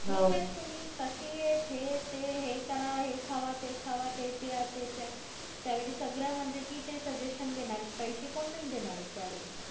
ठीक येत तुम्ही कशी येत हे ते हे करा हे खावा ते खावा ते प्या ते प्या त्या वेळी सगळे म्हणजे कि सजेशन देणार येत पैशे कोण नाही देणार येत त्या वेळेला